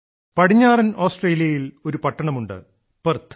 പടിഞ്ഞാറൻ ഓസ്ട്രേലിയയിൽ ഒരു പട്ടണമുണ്ട് പെർത്ത്